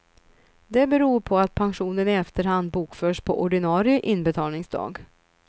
Det beror på att pensionen i efterhand bokförs på ordinarie inbetalningsdag.